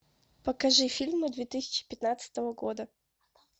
покажи фильмы две тысячи пятнадцатого года